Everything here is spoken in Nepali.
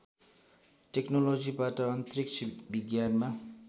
टेकनोलोजीबाट अन्तरिक्ष विज्ञानमा